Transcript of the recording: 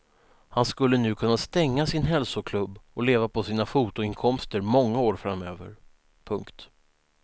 Han skulle nu kunna stänga sin hälsoklubb och leva på sina fotoinkomster många år framöver. punkt